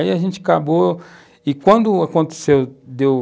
Aí a gente acabou... E quando aconteceu, deu...